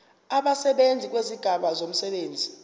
abasebenzi ngokwezigaba zomsebenzi